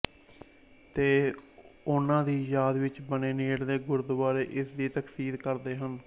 ਤੇ ਉਹਨਾਂ ਦੀ ਯਾਦ ਵਿਚ ਬਣੇ ਨੇੜਲੇ ਗੁਰਦਵਾਰੇ ਇਸ ਦੀ ਤਸਦੀਕ ਕਰਦੇ ਹਨ